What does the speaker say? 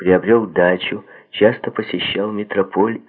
приобрёл дачу часто посещал метрополь